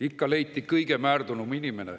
Ikka leiti kõige rohkem määrdunud inimene.